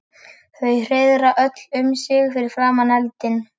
Þau hreiðra öll um sig fyrir framan eldinn.